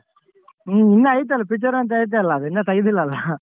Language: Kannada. ಹ್ಮ್ ಇನ್ನ ಐತಲ್ಲ picture ಅಂತ್ ಐತಲ್ಲ ಅದ್ ಇನ್ನ ತೆಗ್ದಿಲ್ಲಲ್ಲ .